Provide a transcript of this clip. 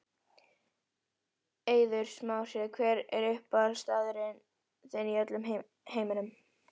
Eiður Smári Hver er uppáhaldsstaðurinn þinn í öllum heiminum?